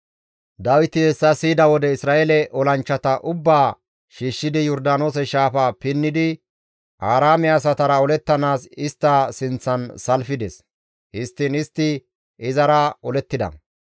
Dawiti hessa siyida wode Isra7eele olanchchata ubbaa shiishshidi Yordaanoose shaafa pinnidi Aaraame asatara olettanaas istta sinththan salfides; histtiin istti izara olettida.